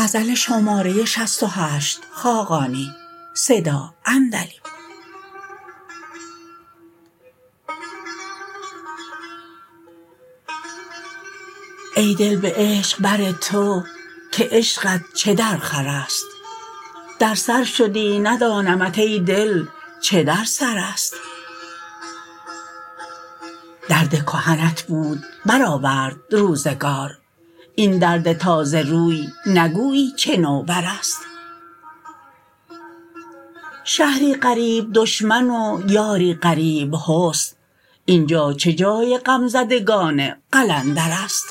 ای دل به عشق بر تو که عشقت چه درخور است در سر شدی ندانمت ای دل چه در سر است درد کهنت بود برآورد روزگار این درد تازه روی نگویی چه نوبر است شهری غریب دشمن و یاری غریب حسن اینجا چه جای غم زدگان قلندر است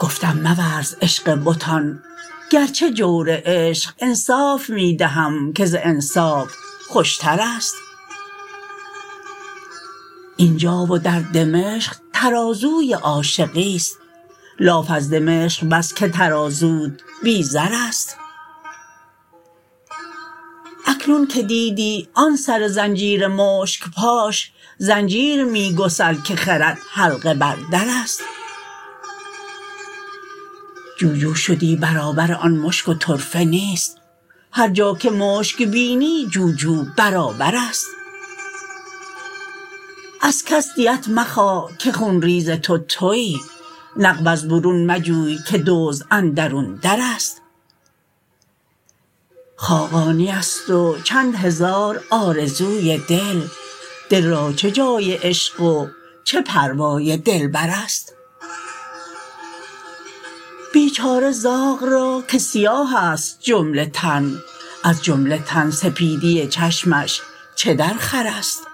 گفتم مورز عشق بتان گرچه جور عشق انصاف می دهم که ز انصاف خوش تر است اینجا و در دمشق ترازوی عاشقی است لاف از دمشق بس که ترازوت بی زر است اکنون که دیدی آن سر زنجیر مشک پاش زنجیر می گسل که خرد حلقه بر در است جوجو شدی برابر آن مشک و طرفه نیست هرجا که مشک بینی جوجو برابر است از کس دیت مخواه که خون ریز تو تویی نقب از برون مجوی که دزد اندرون در است خاقانی است و چند هزار آرزوی دل دل را چه جای عشق و چه پروای دلبر است بیچاره زاغ را که سیاه است جمله تن از جمله تن سپیدی چشمش چه درخور است